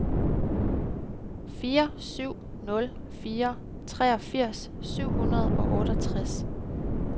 fire syv nul fire treogfirs syv hundrede og otteogtres